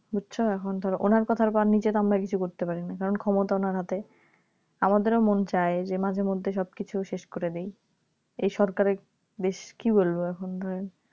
বুঝেছো এখন ধরো ওনার কথার ওপর নিচের আমরা তো কিছু করতে পারি না কারণ ক্ষমতা ওনার হাতে আমাদেরও মন চায় যে মাঝেমধ্যে সবকিছু শেষ করে দেই এই সরকার এর বেশ কি বলবো এখন আর